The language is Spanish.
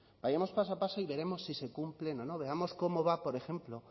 vayamos paso a paso y veremos si se cumplen o no veamos cómo va por ejemplo